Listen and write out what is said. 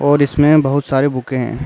और इसमें बोहोत सारे बुके हैं।